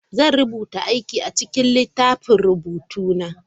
Zan rubuta aikin a cikin littafin rubutu na.